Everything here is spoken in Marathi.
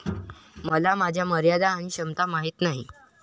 मला माझ्या मर्यादा आणि क्षमता माहीत आहेत.